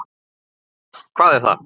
Bokka, hvað er það?